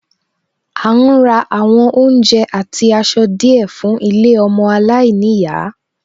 À ń ra àwọn oúnjẹ àti aṣọ díẹ̀ fún ilé ọmọ aláìníyàá